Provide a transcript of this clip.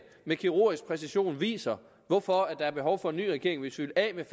med kirurgisk præcision viser hvorfor der er behov for en ny regering hvis vi vil af med